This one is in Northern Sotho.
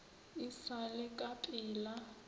e sa le ka pela